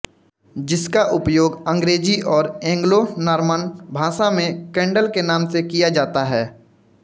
जिसका उपयोग अंग्रेज़ी और एंग्लो नॉर्मन भाषा में केंडल के नाम से किया जाता है